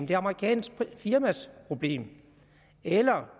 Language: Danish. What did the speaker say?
det amerikanske firmas problem eller